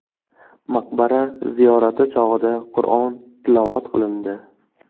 Maqbara ziyorati chog‘ida Qur’on tilovat qilindi.